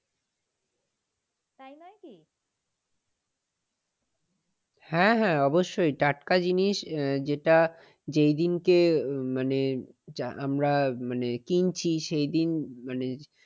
হ্যাঁ হ্যাঁ অবশ্যই টাটকা জিনিস যেটা যে জিনিস এ মানে আমরা মানে কিনছি সেই দিন মানে